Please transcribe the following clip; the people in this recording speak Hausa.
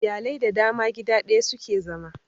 Iyalai da dama gida daya suke zama